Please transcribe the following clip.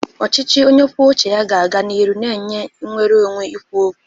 Ọchịchị onye kwuo uche ga-aga n'ihu na-enye nnwere onwe ikwu okwu.